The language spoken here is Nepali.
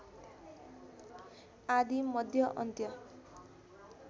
आदि मध्य अन्त्य